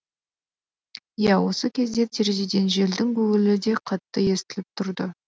иә осы кезде терезеден желдің гуілі де қатты естіліп тұрды